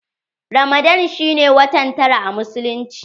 Ramadan shi ne watan tara a musulunci.